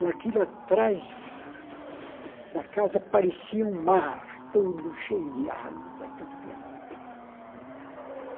E aquilo atrás da casa parecia um mar, tudo cheio de água tudo.